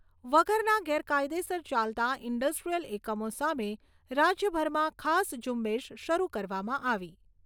વગરના ગેરકાયદેસર ચાલતા ઇન્ડસ્ટ્રીયલ એકમો સામે રાજ્યભરમાં ખાસ ઝુંબેશ શરૂ કરવામાં આવી.